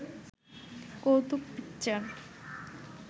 কৌতুক পিকচার